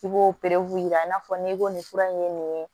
I b'o yira i n'a fɔ n'i ko nin fura in ye nin ye